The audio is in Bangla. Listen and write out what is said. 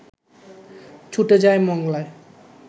ছুটে যায় মংলায়